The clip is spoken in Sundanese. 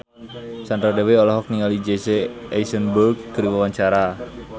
Sandra Dewi olohok ningali Jesse Eisenberg keur diwawancara